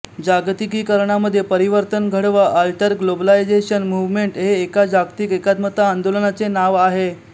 जागतिकीकरणामध्ये परिवर्तन घडवा alterglobalization movement हे एका जागतिक एकात्मता आंदोलनाचे नाव आहे